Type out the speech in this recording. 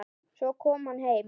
Svo kom hann heim.